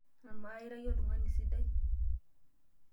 Amaa, ira iyie oltungani sidai?